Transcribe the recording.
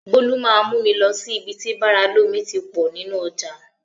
Bọ́lá máa mú mi lọ sí ibi tí bàrà lómi ti pọ̀ nínú ọjà.